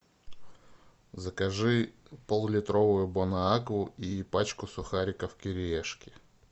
закажи пол литровую бонакву и пачку сухариков кириешки